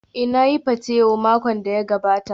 Ee, na yi patewo makon da ya gabata.